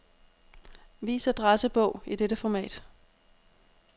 Vis adressebog i dette format.